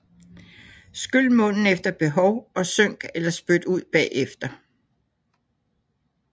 Skyl munden efter behov og synk eller spyt ud bagefter